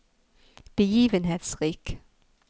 begivenhetsrik